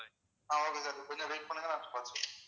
ஆஹ் okay sir கொஞ்சம் wait பண்ணுங்க நான் பார்த்து சொல்றேன்.